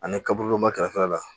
Ani kaburu dɔ matarafa la